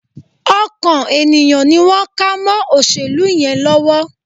Ọkàn ènìyàn ni wọ́n ká mọ́ òṣèlú yẹn lọ́wọ́